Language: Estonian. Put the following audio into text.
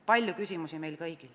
Palju küsimusi on meil kõigil.